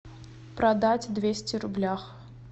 продать двести рублях